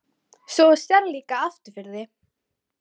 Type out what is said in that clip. Svo þú sérð líka aftur fyrir þig?